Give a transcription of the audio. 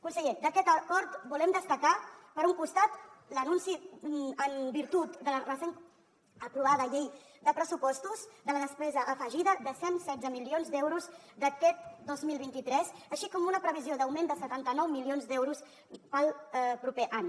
conseller d’aquest acord volem destacar per un costat l’anunci en virtut de la recent aprovada llei de pressupostos de la despesa afegida de cent i setze milions d’euros d’aquest any dos mil vint tres així com una previsió d’augment de setanta nou milions d’euros per al proper any